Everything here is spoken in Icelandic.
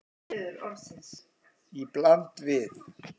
Í bland við